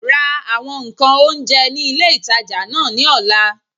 Ra àwọn ǹkan oúnjẹ ní ilé ìtajà náà ní ọ̀la